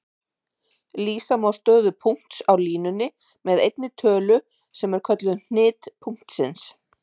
Lýsa má stöðu punkts á línunni með einni tölu sem er kölluð hnit punktsins.